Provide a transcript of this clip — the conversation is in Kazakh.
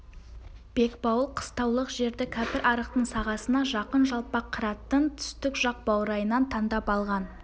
бекбауыл қыстаулық жерді кәпірарықтың сағасына жақын жалпақ қыраттың түстік жақ баурайынан таңдап алған